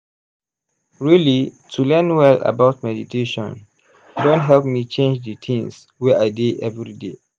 really to learn well about meditation don help me change d things wey i dey everyday.